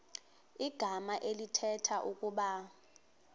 igama elithetha ukuba